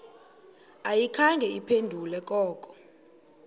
ayikhange iphendule koko